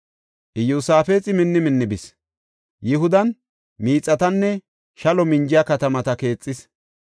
Iyosaafexi minni minni bis. Yihudan miixatanne shalo minjiya katamata keexis.